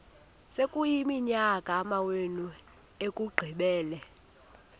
sekuyiminyaka amawenu ekuqumbele